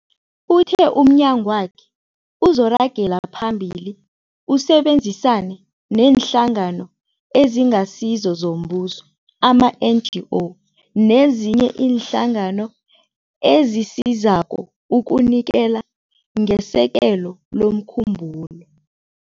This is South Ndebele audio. Uthe umnyagwakhe uzoragela phambili usebenzisane neeNhlangano eziNgasizo zoMbuso, ama-NGO, nezinye iinhlangano ezisizako ukunikela ngesekelo lomkhumbulo.